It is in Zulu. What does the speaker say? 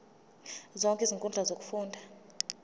zonke izinkundla zokufunda